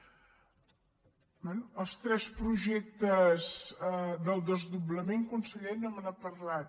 bé dels tres projectes del desdoblament conseller no me n’ha parlat